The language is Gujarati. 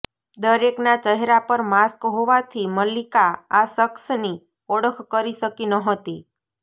દરેકના ચહેરા પર માસ્ક હોવાથી મલ્લિકા આ શખ્સની ઓળખ કરી શકી નહોતી